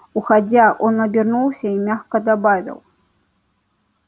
уходя он обернулся и мягко добавил